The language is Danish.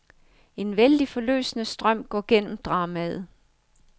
En vældig, forløsende strøm går gennem dramaet.